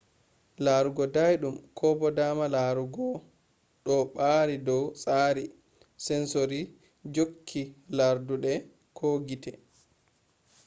laarugo dainum ko bo daama laarugo ɗo ɓaari dow tsari sensori jokke larduɗe ko gite